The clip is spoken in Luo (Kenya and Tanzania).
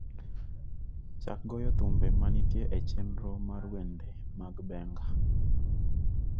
Chak goyo thumbe manitie e chenro mar wende mag Benga.